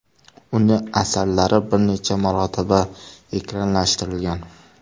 Uning asarlari bir necha marotaba ekranlashtirilgan.